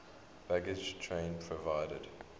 baggage train provided